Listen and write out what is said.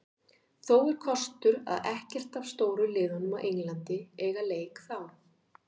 Þó er kostur að ekkert af stóru liðunum á Englandi eiga leik þá.